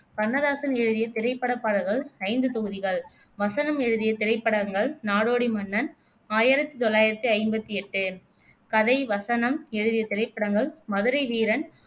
கண்ணதாசன் எழுதிய திரைப்படப் பாடல்கள் ஐந்துதொகுதிகள் வசனம் எழுதிய திரைப்படங்கள் நாடோடி மன்னன் ஆயிரத்தி தொள்ளாயிரத்தி ஐம்பத்தி எட்டு கதை, வசனம் எழுதிய திரைப்படங்கள் மதுரை வீரன்